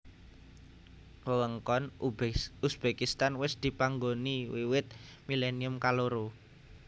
Wewengkon Uzbekistan wis dipanggoni wiwit milennium kaloro